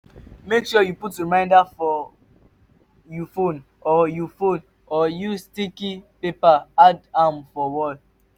make sure you put reminder for you phone or you phone or use sticky paper add am for wall